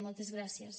moltes gràcies